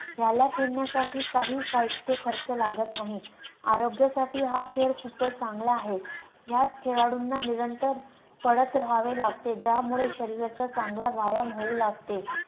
ह्याला खेळण्यासाठी काही साहित्य खर्च लागत नाही, आरोग्यासाठी हा खेळ खूपच चांगला आहे. यात खेळाडूंना निरंतर पडत रहावे लागते, ज्यामुळॆ शरीराचा चांगला व्यायाम होऊ लागते